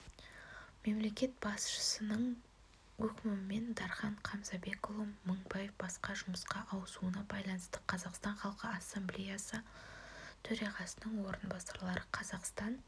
мемлекет басшысының өкімімен дархан қамзабекұлы мыңбай басқа жұмысқа ауысуына байланысты қазақстан халқы ассамблеясы төрағасының орынбасары қазақстан